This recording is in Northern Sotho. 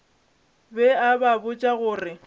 be a ba botša gore